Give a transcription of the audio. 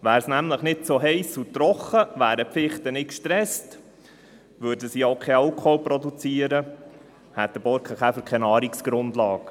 Wäre es nämlich nicht so heiss und trocken, wären die Fichten nicht gestresst und sie würden keinen Alkohol produzieren, und der Borkenkäfer hätte keine Nahrungsgrundlage.